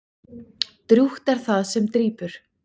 Drjúgt er það sem drýpur.